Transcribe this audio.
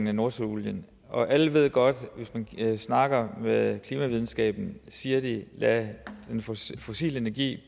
i nordsøen og alle ved godt hvis man snakker med klimavidenskaben at de siger lad den fossile energi